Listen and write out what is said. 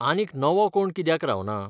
आनीक नवो कोण कित्याक रावना?